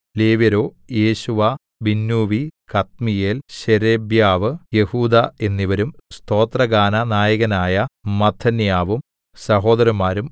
ലേവ്യരോ യേശുവ ബിന്നൂവി കദ്മീയേൽ ശേരെബ്യാവ് യെഹൂദാ എന്നിവരും സ്തോത്രഗാനനായകനായ മത്ഥന്യാവും സഹോദരന്മാരും